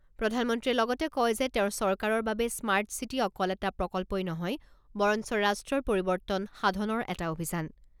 প্ৰধানমন্ত্ৰীয়ে লগতে কয় যে তেওঁৰ চৰকাৰৰ বাবে স্মাৰ্ট চিটি অকল এটা প্ৰকল্পই নহয় বৰঞ্চ ৰাষ্ট্ৰৰ পৰিৱৰ্তন সাধনৰ এটা অভিযান।